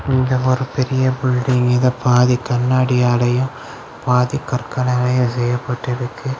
இங்க ஒரு பெரிய பில்டிங் இத பாதி கண்ணாடியாலையும் பாதி கற்களாலையும் செய்யப்பட்டு இருக்கு.